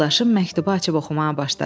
Yoldaşım məktubu açıb oxumağa başladı.